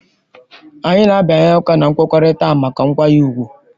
Anyị na-abịanye aka na nkwekọrịta ahụ maka nkwanye ùgwù.